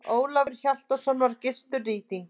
Ólafur Hjaltason var gyrtur rýtingi.